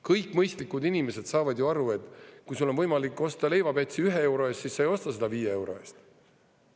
Kõik mõistlikud inimesed saavad ju aru, et kui sul on võimalik osta leivapäts 1 euro eest, siis sa ei osta seda 5 euro eest.